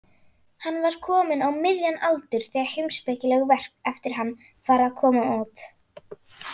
Hann var kominn á miðjan aldur þegar heimspekileg verk eftir hann fara að koma út.